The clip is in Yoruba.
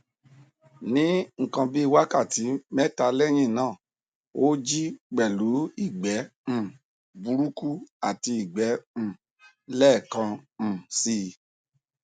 ní nkan bíi wákàtí mẹta lẹyìn náà ó jí pẹlú ìgbẹ um burúkú àti ìgbẹ um lẹẹkan um si